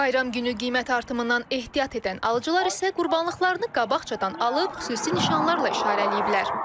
Bayram günü qiymət artımından ehtiyat edən alıcılar isə qurbanlıqlarını qabaqcadan alıb xüsusi nişanlarla işarələyiblər.